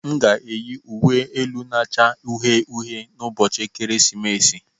M ga-eyi uwe elu na-acha uhie uhie n'ụbọchị ekeresimesi.